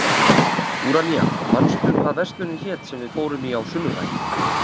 Úranía, manstu hvað verslunin hét sem við fórum í á sunnudaginn?